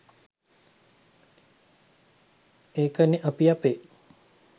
ඒකනෙ අපි අපේ